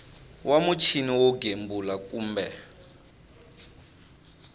wa muchini wo gembula kumbe